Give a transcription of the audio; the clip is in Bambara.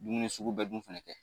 Dumuni sugu bɛ dun fɛnɛ kɛ.